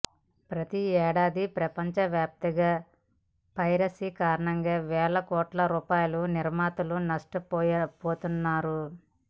ప్రతి ఏడాది ప్రపంచ వ్యాప్తంగా పైరసీ కారణంగా వేల కోట్ల రూపాయలు నిర్మాతలు నష్టపోతున్నారు